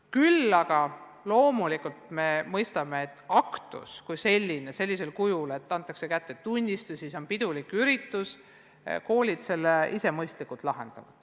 Küll aga me mõistame, et aktus kui selline pidulik üritus, kus antakse kätte tunnistused – sellele leiavad koolid ise mõistliku lahenduse.